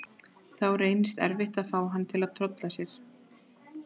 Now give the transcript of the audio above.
Þá reynist erfitt að fá hana til að tolla þar.